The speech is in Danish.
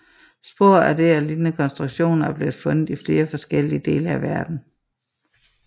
Spor af det og lignende konstruktioner er blevet fundet i flere forskellige dele af verden